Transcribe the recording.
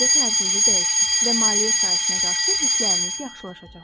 Öz düşüncə tərzinizi dəyişin və maliyyə sahəsinə qarşı hissləriniz yaxşılaşacaqdır.